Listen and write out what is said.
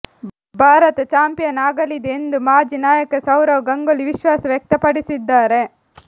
Bharat champion ಆಗಲಿದೆ ಎಂದು ಮಾಜಿ ನಾಯಕ ಸೌರವ್ ಗಂಗೂಲಿ ವಿಶ್ವಾಸ ವ್ಯಕ್ತಪಡಿಸಿದ್ದಾರೆ